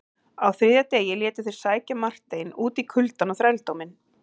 Á þriðja degi létu þeir sækja Marteinn út í kuldann og þrældóminn.